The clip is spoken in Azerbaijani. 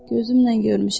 Gözümlə görmüşəm.